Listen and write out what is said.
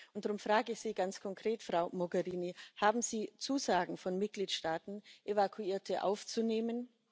Und darum frage ich Sie ganz konkret, Frau Mogherini Haben Sie Zusagen von Mitgliedstaaten, Evakuierte aufzunehmen?